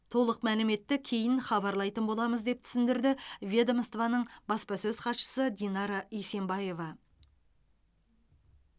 толық мәліметті кейін хабарлайтын боламыз деп түсіндірді ведомствоның баспасөз хатшысы динара есенбаева